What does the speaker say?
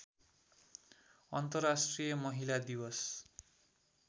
अन्तर्राष्ट्रिय महिला दिवस